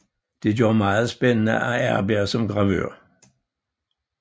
Det gør det meget spændende at arbejde som gravør